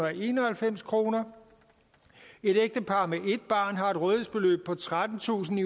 og enoghalvfems kroner et ægtepar med ét barn har et rådighedsbeløb på trettentusinde